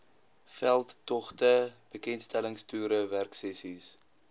veldtogte bekendstellingstoere werksessies